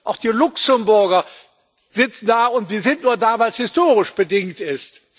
Auch die Luxemburger sitzen da, und die sind nur da, weil es historisch bedingt ist.